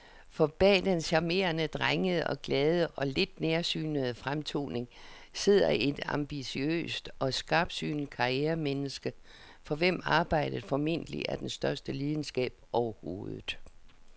For bag den charmerende, drengede, glade og lidt nærsynede fremtoning sidder et ambitiøst og skarpsynet karrieremenneske, for hvem arbejdet formentlig er den største lidenskab overhovedet.